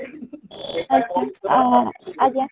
ଆଚ୍ଛା, ଆଁ ଆଜ୍ଞା